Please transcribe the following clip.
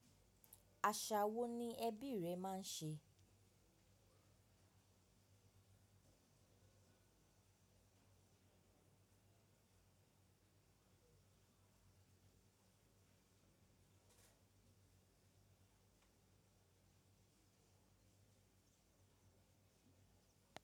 Àṣà wo ni ẹbí rẹ máa ń ṣe?